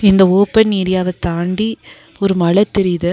இந்த ஓப்பன் ஏரியாவ தாண்டி ஒரு மல தெரிது.